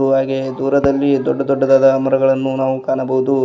ಹಾಗು ಹಾಗೆ ದೂರದಲ್ಲಿ ದೊಡ್ಡ ದೊಡ್ಡದಾದ ಮರಗಳನ್ನು ನಾವು ಕಾಣಬಹುದು.